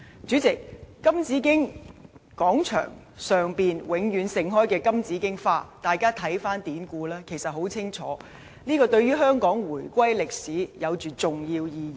主席，金紫荊廣場上永遠盛開的金紫荊花，大家看看典故，便可清楚知道，金紫荊花像對香港回歸歷史的重要意義。